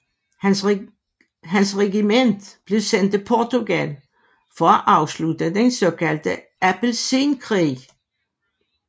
Hans regiment blev sendt til Portugal for at afslutte den såkaldte appelsinkrig